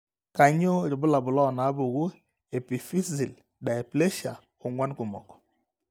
Kainyio irbulabul onaapuku e epiphyseal dysplasia ong'uan kumok?